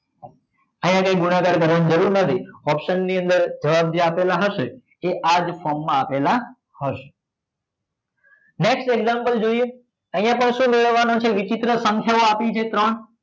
અહીંયા કંઈ ગુણાકાર કરવાની જરૂર નથી option ની અંદર જવાબ જે આપેલા હશે એ આ જ form માં આપેલા હશે next example જોઈએ અહીંયા પણ શું મેળવવાનું છે વિચિત્ર સંખ્યા આપેલી છે ત્રણ